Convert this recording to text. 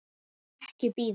Ekki bíða.